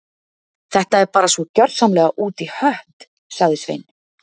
Þetta er bara svo gjörsamlega út í hött- sagði Svein